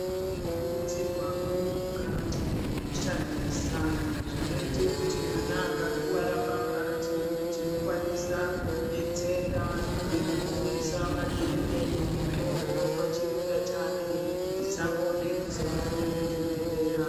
Tinokurudzirwawo kugara tine zvekushandisa, zvinoyita kuti mwana akakuvara pambatso, tinokwanisa kumudetsera ngekumuyisa madhende, nemitombo pachironda chake, tisangode kuzomhanya kuzvibhedhlera.